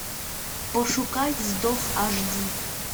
пошукай вздох аш ди